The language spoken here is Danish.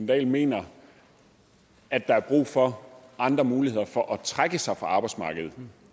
dahl mener at der er brug for andre muligheder for at trække sig fra arbejdsmarkedet